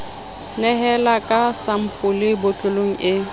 nehela ka sampole botlolong e